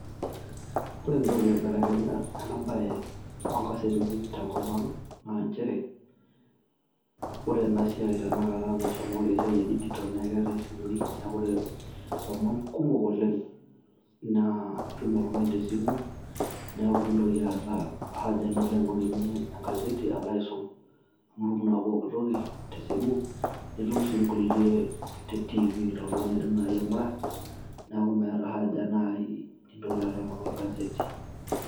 Ore entoki naibelekenya enabae, onkasetini tenkop ang',naa njere, ore enasiai tanakata nashomoki esiai e digital ,na keetae isimui neeku lomon kumok oleng'. Naa itum oltung'ani tesimu, neeku mintoki aata haja nilo aing'orunye egaseti aitoki aisum. Amu itum naa pooki toki tesimu, nitum si nkulie te TV toltung'ani oidim nai aing'ura, neeku meeta nai nintoki alo aing'oru egaseti.